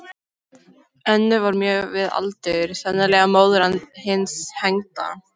Önnur var mjög við aldur, sennilega móðir hins hengda.